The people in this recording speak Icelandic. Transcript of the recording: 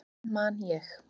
Svo man ég.